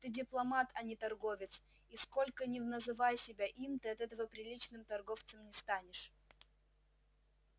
ты дипломат а не торговец и сколько ни называй себя им ты от этого приличным торговцем не станешь